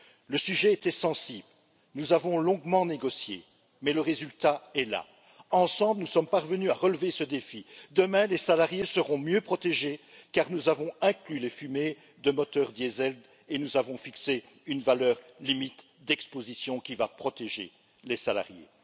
Le sujet était sensible, nous avons longuement négocié, mais le résultat est là. Ensemble, nous sommes parvenus à relever ce défi demain, les salariés seront mieux protégés, car nous avons inclus les fumées des moteurs diesel et nous avons fixé une valeur limite d'exposition qui va protéger les salariés.